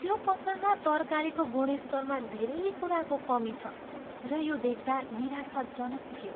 त्यो पसलमा तरकारीको गुणस्तरमा धेरै कुराको कमी छ र यो देख्दा निराशाजनक थियो।